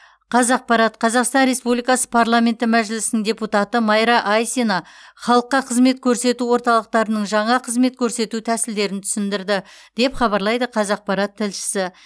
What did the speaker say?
қазақпарат қазақстан республикасы парламенті мәжілісінің депутаты майра айсина халыққа қызмет көрсету орталықтарының жаңа қызмет көрсету тәсілдерін түсіндірді деп хабарлайды қазақпарат тілшісі